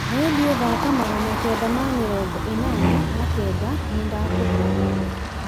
rĩndiũ thaaka magana kenda ma mĩrongo ĩnana na kenda nĩ ndakũhoya